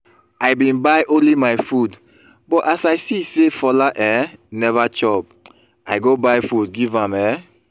i bin buy only my food but as i see say fola um never chop i go buy food give am um